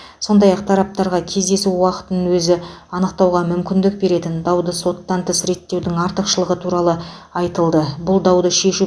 сондай ақ тараптарға кездесу уақытын өзі анықтауға мүмкіндік беретін дауды соттан тыс реттеудің артықшылығы туралы айтылды бұл дауды шешу